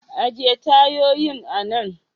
Ajiye tayoyin anan.